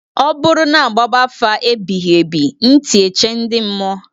Ọ bụrụ na-agbaba afa ebighị ebị ntị eche ndị mmụọ.